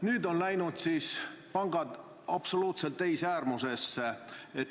Nüüd on pangad siis läinud absoluutselt teise äärmusesse.